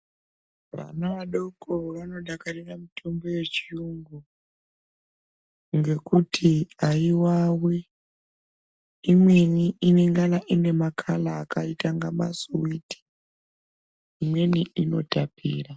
Vana vadoko vanodakarira mutombo yechiyungu ngekuti haivavi. Imweni inangana ine makala akaite masiviti, imweni inotapira.